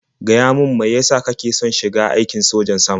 Gaya min mai ya sa kake son shiga aikin sojan sama?